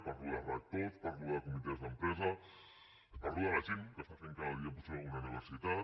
parlo de rectors parlo de comitès d’empresa parlo de la gent que fa cada dia possible una universitat